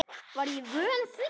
Var ég vön því?